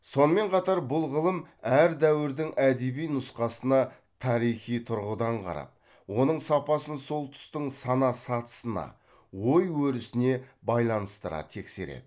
сонымен қатар бұл ғылым әр дәуірдің әдеби нұсқасына тарихи тұрғыдан қарап оның сапасын сол тұстың сана сатысына ой өрісіне байланыстыра тексереді